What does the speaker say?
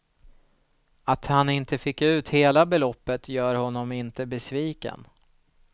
Att han inte fick ut hela beloppet gör honom inte besviken.